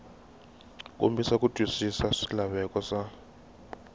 kombisa ku twisisa swilaveko swa